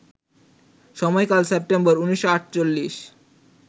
সময়কাল সেপ্টেম্বর ১৯৪৮